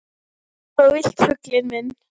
Eins og þú vilt, fuglinn minn.